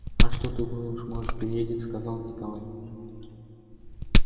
а что ты думаешь может приедет сказал николай